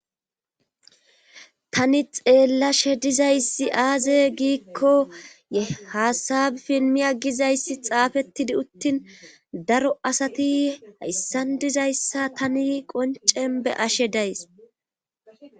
Tani xeellashe dizayssi aaze giikko haasabi pilmiya gizayssi xaafettidi uttin daro asati hayssan dizayssa tani qoncen be ashe days.